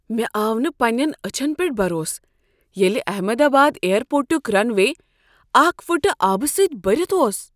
مےٚ آو نہٕ پننین اچھن پیٹھ بروس ییلہِ احمد آباد اییر پورٹُک رن وے اکھ فٕٹہٕ آبہٕ سۭتۍ برِتھ اوس۔